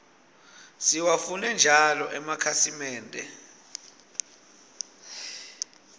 siwafune njalo emakhasimende